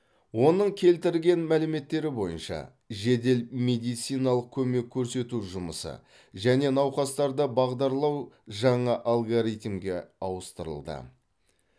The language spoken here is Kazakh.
оның келтірген мәліметтері бойынша жедел медициналық көмек көрсету жұмысы және науқастарды бағдарлау жаңа алгоритмге ауыстырылды